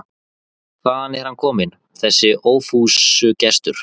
Hvaðan er hann kominn, þessi ófúsugestur?